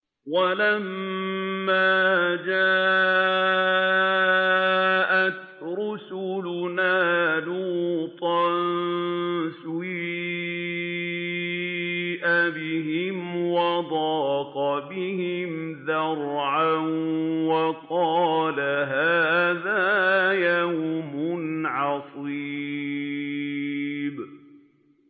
وَلَمَّا جَاءَتْ رُسُلُنَا لُوطًا سِيءَ بِهِمْ وَضَاقَ بِهِمْ ذَرْعًا وَقَالَ هَٰذَا يَوْمٌ عَصِيبٌ